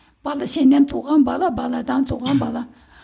сенен туған бала баладан туған бала